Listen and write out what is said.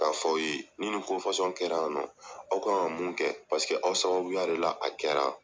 K'a fɔ aw ye, ni ni ko kɛra yan nɔ. Aw kan ka mun kɛ, paseke aw sababuya de la a kɛra.